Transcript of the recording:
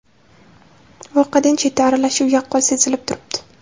voqeada chetdan aralashuv yaqqol sezilib turibdi.